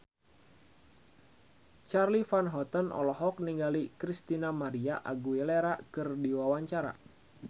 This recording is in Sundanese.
Charly Van Houten olohok ningali Christina María Aguilera keur diwawancara